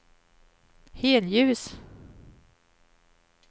helljus